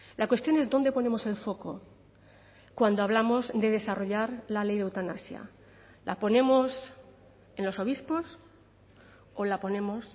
la cuestión es dónde ponemos el foco cuando hablamos de desarrollar la ley de eutanasia la ponemos en los obispos o la ponemos